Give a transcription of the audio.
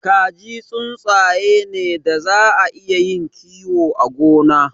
Kaji tsuntsaye ne daza a iya yin kiyo a gona.